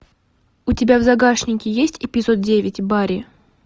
у тебя в загашнике есть эпизод девять барри